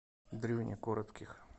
дрюне коротких